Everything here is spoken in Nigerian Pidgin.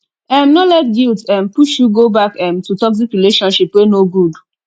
um no let guilt um push you go back um to toxic relationship wey no good